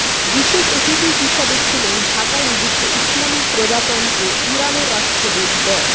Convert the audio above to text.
বিশেষ অতিথি হিসেবে ছিলেন ঢাকায় নিযুক্ত ইসলামী প্রজাতন্ত্র ইরানের রাষ্ট্রদূত ড